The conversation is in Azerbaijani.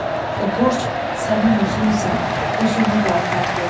O borc sənin özünsən, özünü qaytar geri.